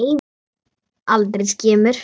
Aldrei skemur.